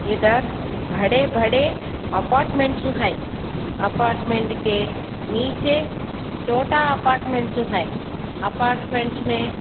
इधर भरे भरे अपार्टमेंट्स है अपार्टमेंट के नीचे छोटा अपार्टमेंट्स है अपार्ट्समेंट्स में--